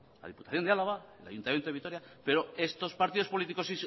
la diputación de álava el ayuntamiento de vitoria pero estos partidos políticos